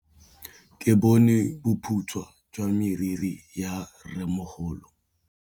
Ke bone boputswa jwa meriri ya rrêmogolo.